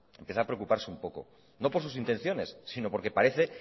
empieza a preocuparse un poco no por sus intenciones si no porque parece